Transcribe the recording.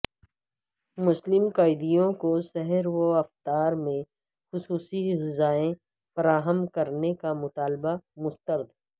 مسلم قیدیوں کو سحر و افطار میں خصوصی غذائیں فراہم کرنے کا مطالبہ مسترد